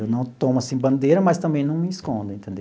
Eu não tomo assim bandeira, mas também não me escondo, entendeu